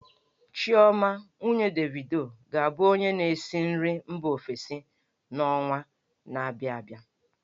Chioma, nwunye Davido, ga-abụ onye na-esi nri mba ofesi n'ọnwa na-abịa abịa.